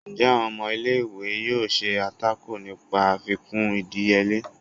njẹ awón ọmọ ìlé-ìwé yóò ṣe atákò nìpa àfikún ìdíyele?